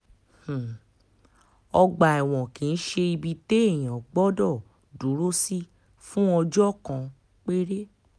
um ọgbà ẹ̀wọ̀n kì í ṣe ibi téèyàn gbọ́dọ̀ dúró sí fún ọjọ́ um kan péré